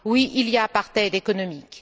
Oui, il y a apartheid économique.